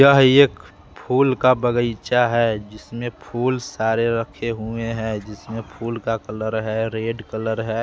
यह एक फूल का बगीचा है जिसमें फूल सारे रखे हुए हैं जिसमें फूल का कलर है रेड कलर है --